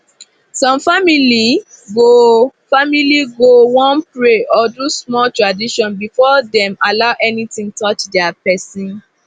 some family go family go wan pray or do small tradition before dem allow anything touch their person